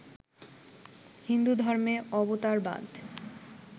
হিন্দুধর্মে অবতারবাদ